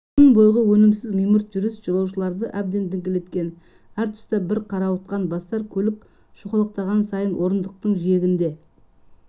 күн бойғы өнімсіз мимырт жүріс жолаушыларды әбден діңкелеткен әр тұста бір қарауытқан бастар көлік шоқалақтаған сайын орындықтың жиегінде